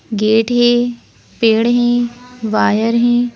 Gate है पेड़ हैं वायर है।